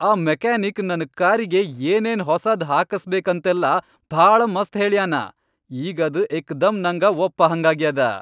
ಆ ಮೆಕ್ಯಾನಿಕ್ ನನ್ ಕಾರಿಗೆ ಏನೇನ್ ಹೊಸಾದ್ ಹಾಕಸ್ಬೇಕಂತೆಲ್ಲಾ ಭಾಳ ಮಸ್ತ್ ಹೇಳ್ಯಾನ. ಈಗ್ ಅದ್ ಏಕ್ದಂ ನಂಗ ಒಪ್ಪಹಂಗಾಗ್ಯಾದ.